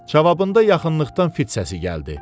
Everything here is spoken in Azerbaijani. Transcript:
Cavabında yaxınlıqdan fit səsi gəldi.